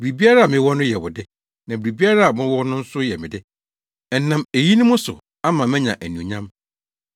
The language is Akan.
Biribiara a mewɔ no yɛ wo de na biribiara a wowɔ no nso yɛ me de. Ɛnam eyinom so ama manya anuonyam.